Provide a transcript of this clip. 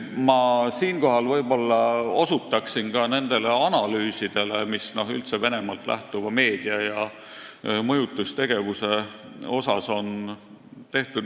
Ma viitan siinkohal ka nendele analüüsidele, mida üldse Venemaalt lähtuva meedia ja mõjutustegevuse kohta on tehtud.